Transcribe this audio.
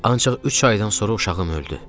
Ancaq üç aydan sonra uşağım öldü.